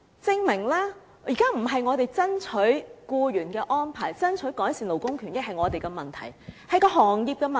證明了我們現在爭取僱員的安排、爭取改善勞工權益不是我們的問題，而是行業的問題。